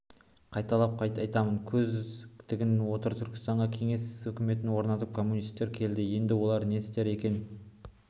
қайталап айтамын көз тігіп отыр түркістанға кеңес өкіметін орнатып коммунистер келді енді олар не істер екен